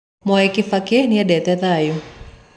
Mwai Kĩbakĩ nĩendete thaayũ